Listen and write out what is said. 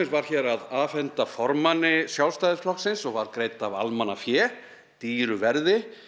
var hér að afhenda formanni Sjálfstæðisflokksins og var greidd af almannafé dýru verði